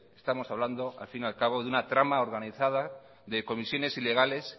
estamos hablando a fin y al cabo de una trama organizada de comisiones ilegales